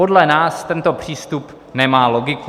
- Podle nás tento přístup nemá logiku.